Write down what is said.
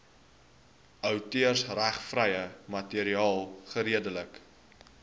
outeursregvrye materiaal geredelik